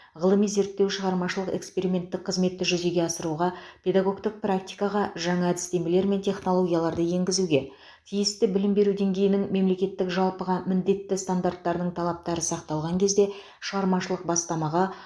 ғылыми зерттеу шығармашылық эксперименттік қызметті жүзеге асыруға педагогтік практикаға жаңа әдістемелер мен технологияларды енгізуге тиісті білім беру деңгейінің мемлекеттік жалпыға міндетті стандартының талаптары сақталған кезде шығармашылық бастамаға